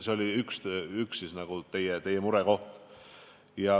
See oli üks teie murekoht.